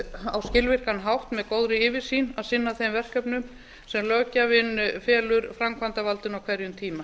á skilvirkan hátt með góðri yfirsýn að sinna þeim verkefnum sem löggjafinn felur framkvæmdarvaldinu á hverjum tíma